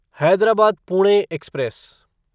Hyderabad Pune express